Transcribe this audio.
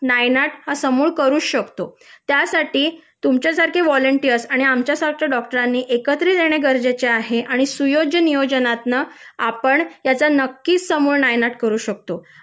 नायनाट हा समूळ करूच शकतो त्यासाठी तुमच्यासारखे व्हॉलेंटियर्स आणि आमच्या सारख्या डॉक्टरांनी एकत्रित येणे गरजेचे आहे आणि सुयोग्य नियोजनातून आपण याचा नक्कीच समूळ नायनाट करू शकतो